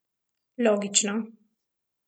Logično.